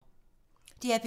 DR P3